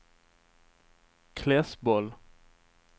Klässbol